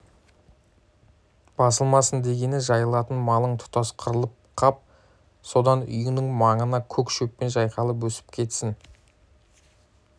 басылмасын дегені жайылатын малың тұтас қырылып қап содан үйіңнің маңына көк шөп жайқалып өсіп кетсін